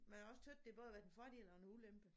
Men jeg har også tøt det både har været en fordel og en ulempe